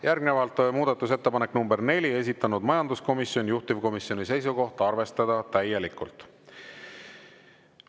Järgnevalt muudatusettepanek nr 4, esitanud majanduskomisjon, juhtivkomisjoni seisukoht: arvestada täielikult.